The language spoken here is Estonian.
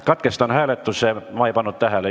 Katkestan hääletuse – ma ei pannud tähele.